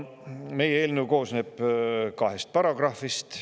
Meie eelnõu koosneb kahest paragrahvist.